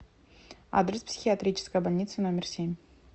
адрес психиатрическая больница номер семь